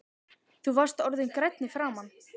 Þú varst orðinn grænn í framan.